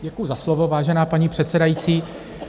Děkuji za slovo, vážená paní předsedající.